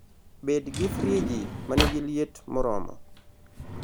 Bed gi friji ma nigi liet moromo.